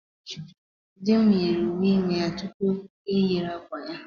Dị m yiri uwe ime ya tupu ya eyiri akwa ya.